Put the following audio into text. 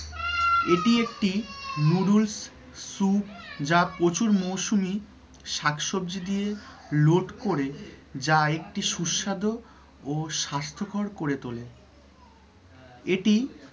এটি একটি noodles soup যা প্রচুর মৌসুমী শাক সবজি দিয়ে লোড করে যা ও স্বাস্থ্যকর করে তোলে এটি